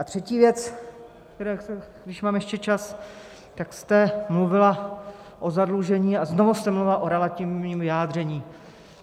A třetí věc, když mám ještě čas, tak jste mluvila o zadlužení a znovu jste mluvila o relativním vyjádření.